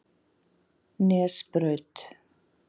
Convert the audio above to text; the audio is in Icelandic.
Nesbraut